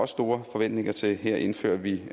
store forventninger til her indfører vi